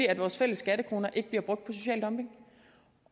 at vores fælles skattekroner ikke bliver brugt på social dumping